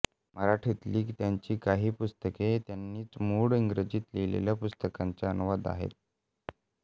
मराठीतली त्यांची काही पुस्तके त्यांनीच मूळ इंग्रजीत लिहिलेल्या पुस्तकांचे अनुवाद आहेत